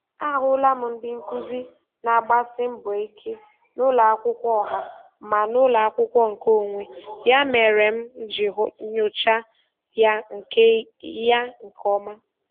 Ahụla m ndị nkụzi na-agbasi mbọ ike n'ụlọ akwụkwọ ọha ma n'ụlọ akwụkwọ nke onwe, ya mere m ji nyocha ya nke ya nke ọma.